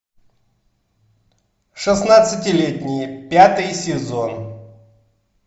шестнадцатилетние пятый сезон